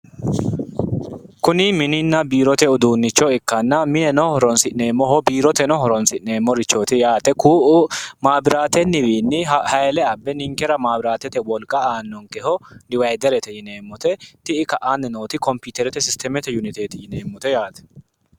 Kuni mininna biirote uduunicho ikana minenno horonisineemoho biiroteno horonisineemorichoti yaate ku'u mabirateni wiini hayiile abbe ninnkera abiratete woliqqa aanonnikeho diwayiderete yineemote yineemote ti'i ka'ani nooti compiiterete sisitemete uniteeti yineemote yaate